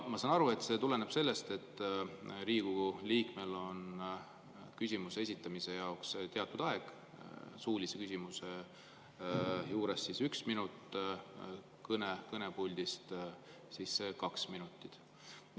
Ma saan aru, et see tuleneb sellest, et Riigikogu liikmel on küsimuse esitamise jaoks teatud aeg, suulise küsimuse puhul üks minut, kõne kõnepuldist on kaks minutit.